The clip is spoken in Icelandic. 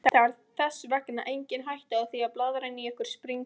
Það er þess vegna engin hætta á því að blaðran í okkur springi.